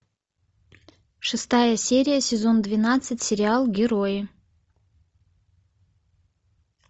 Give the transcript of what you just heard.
шестая серия сезон двенадцать сериал герои